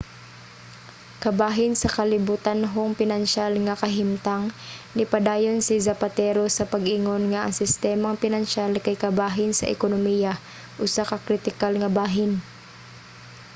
kabahin sa kalibutanhong pinansiyal nga kahimtang nipadayon si zapatero sa pag-ingon nga ang sistemang pinansiyal kay kabahin sa ekonomiya usa ka kritikal nga bahin